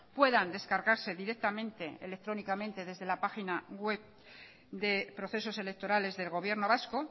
puedan descargarse directamente electrónicamente desde la página web de procesos electorales del gobierno vasco